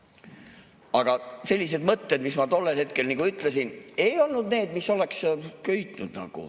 Aga sellised mõtted, mis ma tollel hetkel ütlesin, ei olnud need, mis oleks nagu köitnud.